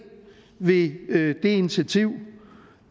ved det initiativ